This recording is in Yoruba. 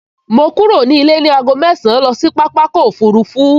Mo kúrò nílé ní aago mẹ́ẹ̀sán lọ sí pápákọ̀ òfurufú